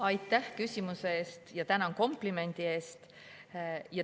Aitäh küsimuse eest ja tänan komplimendi eest!